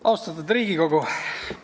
Austatud Riigikogu!